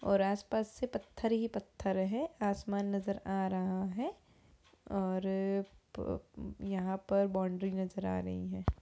और आस पास से पत्थर ही पत्थर है। आसमान नजर आ रहा है और प् यहाँ पर बॉउन्ड्री नजर आ रही है।